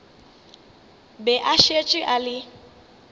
be a šetše a le